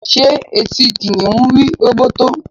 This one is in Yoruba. ṣé eti kìnìún rí róbótó?